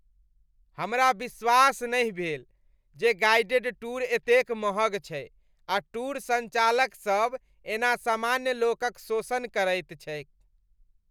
हमरा विश्वास नहि भेल जे गाइडेड टूर एतेक महग छै आ टूरसंचालक सब एना सामान्य लोक क शोषण करैत छैक।